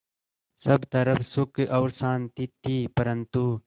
सब तरफ़ सुख और शांति थी परन्तु